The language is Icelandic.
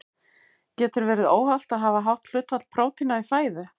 Getur verið óhollt að hafa hátt hlutfall prótína í fæðu?